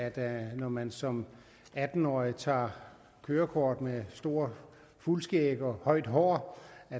at man når man som atten årig tager kørekort med stort fuldskæg og højt hår